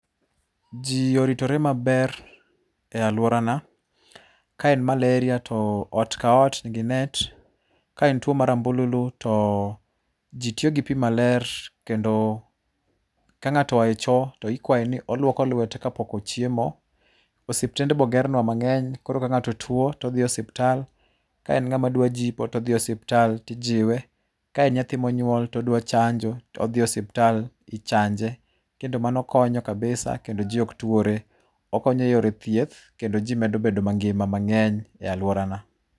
Jii oritore maber e aluorana ka en malaria to ot ka ot nigi net. Ka en tuo mar ambululu to jii tiyo gi pii maler kendo ka ng'ato oae choo to ikwae ni olwolo lwete kapok ochiemo. Osiptende bende ogernwa mang'eny koro ka ng'ato tuo todhi e osiptal, ka en ng'ama dwa jipo todhi e ospital tijiwe. Ka en nyathi monywol to odwa chanjo to dhi e osiptal tichanje kendo mano konyo kabisa kendo jii ok tuore. okonyo e yore thieth kendo jii medo bedo mangima mang'eny e aluorana.